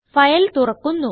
file തുറക്കുന്നു